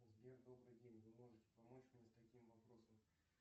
сбер добрый день вы можете помочь мне с таким вопросом